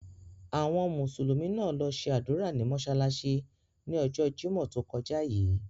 Àwọn Mùsùlùmí náà lo se ádùra ní mósálásí ni ọjọ́ Jimọ to kọja yii.